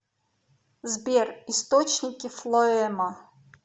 сбер источники флоэма